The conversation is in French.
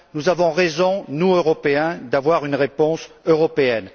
Nous avons raison, nous, Européens, d'apporter une réponse européenne.